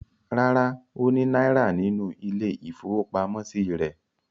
Rárá, ó ní náírà nínú ilé-ìfowópamọ́sí rẹ̀.